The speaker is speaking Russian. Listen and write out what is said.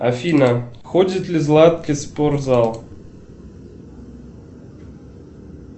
афина ходит ли златки в спортзал